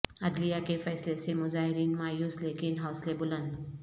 عدلیہ کے فیصلہ سے مظاہرین مایوس لیکن حوصلے بلند